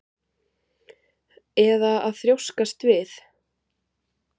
Eða að þrjóskast við?